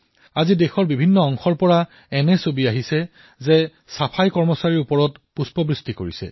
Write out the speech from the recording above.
আজি দেশৰ প্ৰতিটো কোণৰ পৰা এনে ছবি আহিছে যে চাফাই কৰ্মীসকলৰ ওপৰত পুষ্প বৃষ্টি কৰা হৈছে